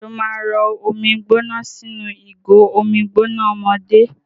Ṣó máa rọ omi gbóná sínú ìgò omi gbóná ọmọdé?